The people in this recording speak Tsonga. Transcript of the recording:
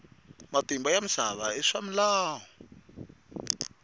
matimba ya misava i swimilwana